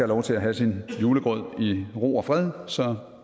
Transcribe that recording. lov til at have sin julegrød i ro og fred så